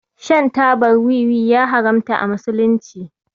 Shan tabar wiwi ya haramta a musulunci.